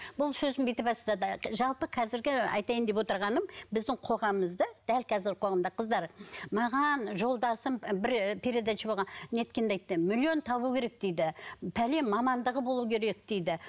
бұл сөзін бүйтіп бастады жалпы қазіргі айтайын деп отырғаным біздің қоғамымызда дәл қазіргі қоғамымда қыздар маған жолдасым бір передача неткенде айтты миллион табу керек дейді пәлен мамандығы болуы керек дейді